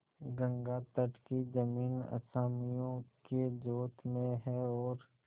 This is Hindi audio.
गंगातट की जमीन असामियों के जोत में है और